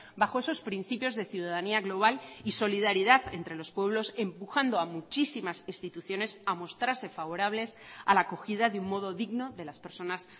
bajo esos principios de ciudadanía global y solidaridad entre los pueblos empujando a muchísimas instituciones a mostrarse favorables a la acogida de un modo digno de las personas